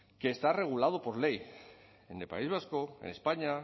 que está regulado por ley en el país vasco en españa